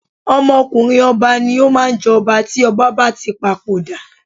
Ọmọkùnrin ọba ni ó máa ń jọba tí ọba bá tí papoda.